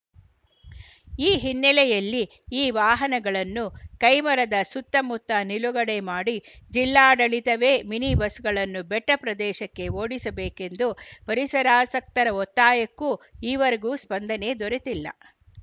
ಈ ಹಿನ್ನೆಲೆಯಲ್ಲಿ ಈ ವಾಹನಗಳನ್ನು ಕೈಮರದ ಸುತ್ತಮುತ್ತ ನಿಲುಗಡೆ ಮಾಡಿ ಜಿಲ್ಲಾಡಳಿತವೇ ಮಿನಿ ಬಸ್‌ಗಳನ್ನು ಬೆಟ್ಟಪ್ರದೇಶಕ್ಕೆ ಓಡಿಸಬೇಕೆಂದು ಪರಿಸರಾಸಕ್ತರ ಒತ್ತಾಯಕ್ಕೂ ಈವರೆಗೂ ಸ್ಪಂದನೆ ದೊರೆತಿಲ್ಲ